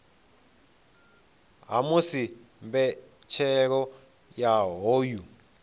ha musi mbetshelo ya hoyu